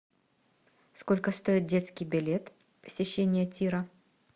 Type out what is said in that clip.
сколько стоит детский билет посещения тира